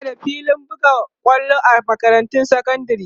ana da filin buga kwallo a makarantun sekandari